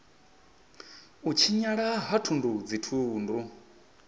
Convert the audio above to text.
u tshinyala ha thundu dzithundu